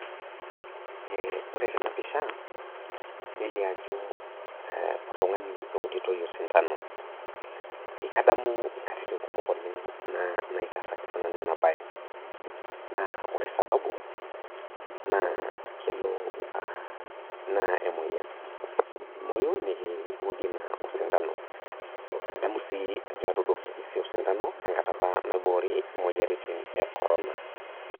Ore tenapisha neliobajo oltungani euditoi osindano, kadamu nkatitin kumok oleng naitaasakinanu enabae, ore sababu na kelo a na emoyian, nemoyu nikuudi osintano, adamu ajo ekiudi osintano tenkata apa naiboori moyiaritin e korona.